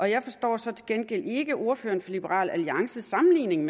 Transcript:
jeg forstår så til gengæld ikke ordføreren fra liberal alliances sammenligning